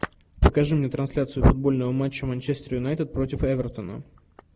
покажи мне трансляцию футбольного матча манчестер юнайтед против эвертона